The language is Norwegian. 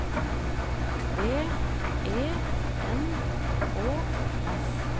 V E N Å S